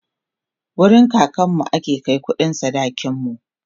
wurin kakanmu ake Kai kuɗin sadakin mu